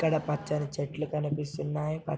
ఇక్కడ పచ్చని చెట్లు కనిపిస్తున్నాయి ప --